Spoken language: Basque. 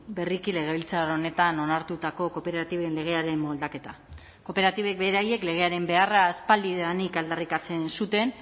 berriki legebiltzar honetan onartutako kooperatiben legearen moldaketa kooperatibek beraiek legearen beharra aspaldidanik aldarrikatzen zuten